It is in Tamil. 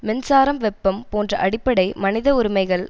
மின்சாரம் வெப்பம் போன்ற அடிப்படை மனித உரிமைகள்